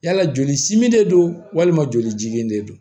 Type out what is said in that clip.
Yala joli simin de don walima jolijigi de don